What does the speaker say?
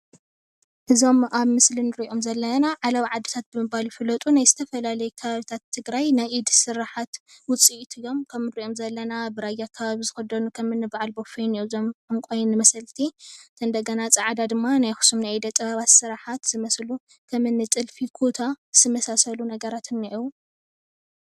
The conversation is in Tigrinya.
እዞም ኣብ ምስሊ ንሪኦም ዘለና ዓለባ ዓድታት ብምባል ዝፍለጡ ናይ ዝተፈላለዩ ከባብታይ ትግራይ ናይ ኢድስራሕቲ ዉፅኢት እዮም ከም ንሪኦም ዘለና ብራያ ኣከባቢ ዝክደኑ ከምእኒ በዓል ቦፌ እዞም ዕንቋይ መሰልቲ እንደገና ደማ ፃዕዳ ድማ ናይ ኣክሱም ኢደ ጥበብ ስራሓት ዝመሰሉ ከምእኒ ጥልፊ ፡ኩታ ዝመሳሰሉ ንገራት እኒአዉ።